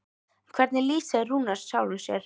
En hvernig lýsir Rúnar sjálfum sér?